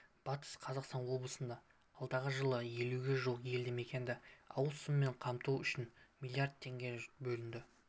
батыс қазақстан облысында алдағы жылы елуге жуық елді мекенді ауыз сумен қамту үшін млрд теңге бөлінді